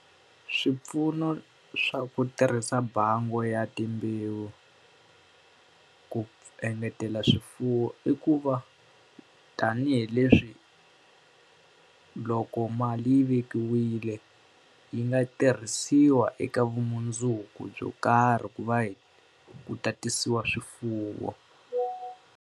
Swipfuno swa ku tirhisa bangi ya timbewu ku engetela swifuwo i ku va, tanihileswi ku loko mali yi vekiwile yi nga tirhisiwa eka vumundzuku byo karhi ku va hi hi tatisiwa swifuwo.